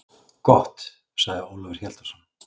Gott, sagði Ólafur Hjaltason.